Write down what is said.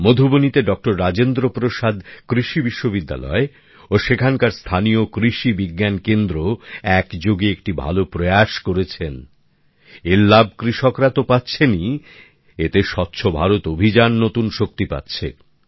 মধুবনীতে ডঃ রাজেন্দ্র প্রসাদ কৃষি বিশ্ববিদ্যালয় ও সেখানকার স্থানীয় কৃষি বিজ্ঞান কেন্দ্র একযোগে একটি ভালো উদ্যোগ গ্রহণ করেছেন এর লাভ কৃষকরা তো পাচ্ছেনই এতে স্বচ্ছ ভারত অভিযান নতুন শক্তি পাচ্ছে